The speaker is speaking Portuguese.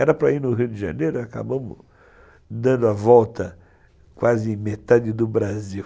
Era para ir no Rio de Janeiro e acabamos dando a volta quase metade do Brasil.